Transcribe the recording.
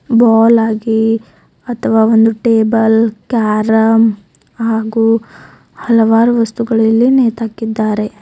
ಬೋಲ್ ಆಗಿ ಅಥವಾ ಒಂದು ಟೆಬಲ್ ಕ್ಯಾರಂ ಹಾಗೂ ಹಲವಾರು ವಸ್ತುಗಳು ಇಲ್ಲಿ ನೇತುಹಾಕಿದ್ದಾರೆ.